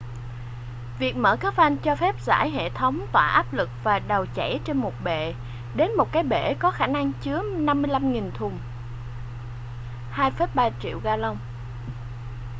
việc mở các van cho phép giải hệ thống tỏa áp lực và dầu chảy trên một bệ đến một cái bể có khả năng chứa 55.000 thùng 2,3 triệu galông